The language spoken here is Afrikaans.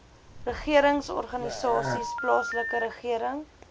regeringsorganisasies plaaslike regering